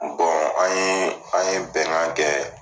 an ye an ye bɛnan kɛ.